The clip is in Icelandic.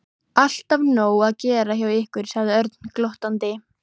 Alltaf nóg að gera hjá ykkur sagði Örn glottandi.